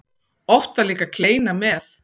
Oft var líka kleina með.